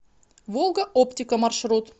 волга оптика маршрут